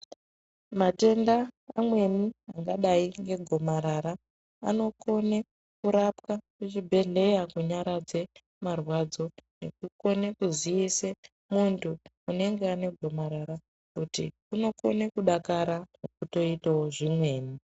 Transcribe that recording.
Matenda amweni akadai ngegomarara anokone kurapwe kuchibhehleya kunyaradze marwadzo nekukone kuziisa muntu unenge ane gomarara kuti unokone kudakara nekutoitawo zvimweni.